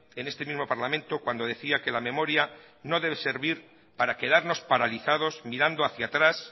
en este mismo parlamento cuando decía que la memoria no debe servir para quedarnos paralizados mirando hacia atrás